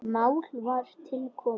Mál var til komið.